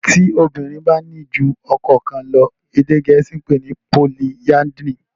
tí obirin bá ní jù ọkọ kán lọ èdè gèésì pé ni polyandry.